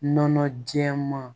Nɔnɔ jɛman